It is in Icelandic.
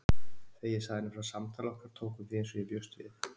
Þegar ég sagði henni frá samtali okkar tók hún því eins og ég bjóst við.